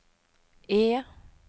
E